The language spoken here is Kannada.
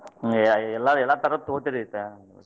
ಎಲ್ಲ~ ಎಲ್ಲಾ ತರದ್ ತೊಗೋತೀರಿ ಎಂತ?